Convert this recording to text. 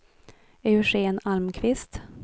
Eugén Almqvist